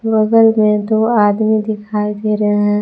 बगल में दो आदमी दिखाई दे रहे हैं।